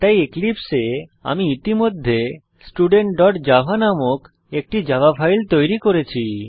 তাই এক্লীপ্সে আমি ইতিমধ্যে studentজাভা নামক একটি জাভা ফাইল তৈরি করেছি